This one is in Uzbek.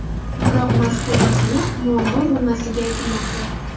Biroq mazkur masala muammo bo‘lmasligi aytilmoqda.